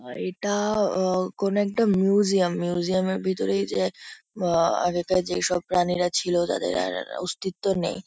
আর এটা আ কোনো একটা মিউজিয়াম মিউজিয়াম -এর ভিতরে এই যে আ আগেকার যেইসব প্রাণীরা ছিল তাঁদের আর-র অস্তিত্ব নেই।